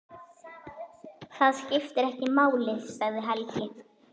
Það skiptir ekki máli, sagði Helgi.